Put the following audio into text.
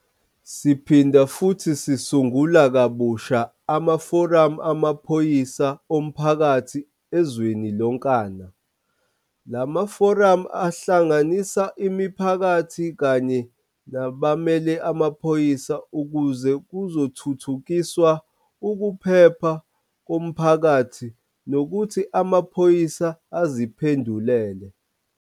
Siphinda futhi sisungula kabusha amaforamu amaphoyisa omphakathi ezweni lonkana. La maforamu ahlanganisa imiphakathi kanye nabamele amaphoyisa ukuze kuzothuthukiswa ukuphepha komphakathi nokuthi amaphoyisa aziphendulele.